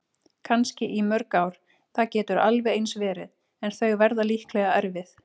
Kannski í mörg ár, það getur alveg eins verið- en þau verða líklega erfið.